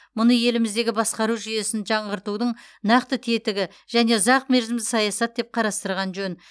мұны еліміздегі басқару жүйесін жаңғыртудың нақты тетігі және ұзақмерзімді саясат деп қарастырған жөн